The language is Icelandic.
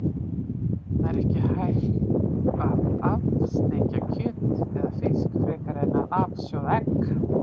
Það er ekki hægt að af-steikja kjöt eða fisk frekar en að af-sjóða egg.